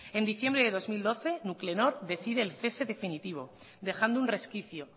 en diciembre del dos mil doce nuclenor decide el cese definitivo dejando un resquicio